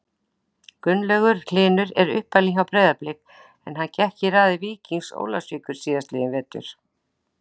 Gunnlaugur Hlynur er uppalinn hjá Breiðabliki en hann gekk í raðir Víkings Ólafsvíkur síðastliðinn vetur.